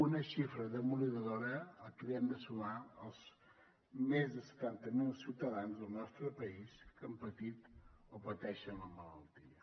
una xifra demolidora a la qual hem de sumar els més de setanta mil ciutadans del nostre país que han patit o pateixen la malaltia